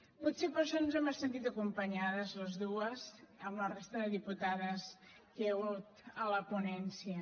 potser per això ens hem sentit acompanyades les dues amb la resta de diputades que hi ha hagut a la ponència